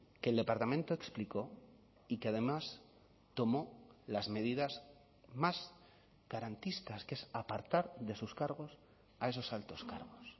que el departamento explicó y que además tomó las medidas más garantistas que es apartar de sus cargos a esos altos cargos